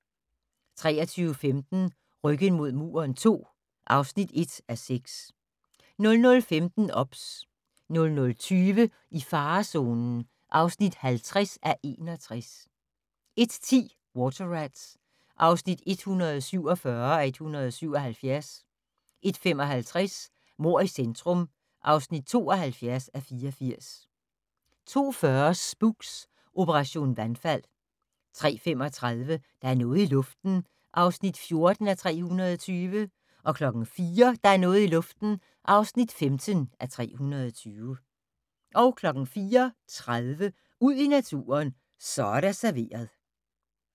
23:15: Ryggen mod muren II (1:6) 00:15: OBS 00:20: I farezonen (50:61) 01:10: Water Rats (147:177) 01:55: Mord i centrum (72:84) 02:40: Spooks: Operation vandfald 03:35: Der er noget i luften (14:320) 04:00: Der er noget i luften (15:320) 04:30: Ud i naturen: Så er der serveret